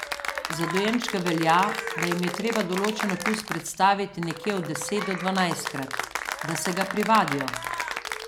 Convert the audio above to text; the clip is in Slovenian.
Za dojenčke velja, da jim je treba določen okus predstaviti nekje od deset do dvanajstkrat, da se ga privadijo.